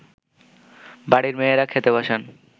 বাড়ির মেয়েরা খেতে বসেন